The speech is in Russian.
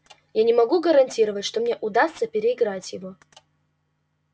я не могу гарантировать что мне удастся переиграть его